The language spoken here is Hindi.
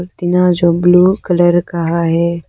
टीना जो ब्लू कलर का है।